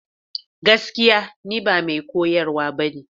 Gaskiya! Ni ba mai koyarwa ba ne.